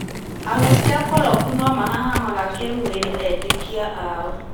ahunjia akoroku no mahahamaga kĩmwĩrĩ etĩkĩa ao